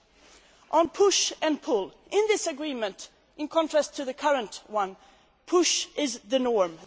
Thirdly, push' and pull'. In this agreement in contrast to the current one push' is the norm.